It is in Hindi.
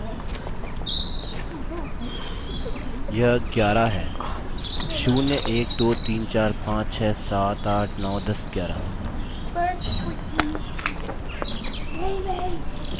यह 11 है 0 1 2 3 4 5 6 7 8 9 10 11 11 से 14 तक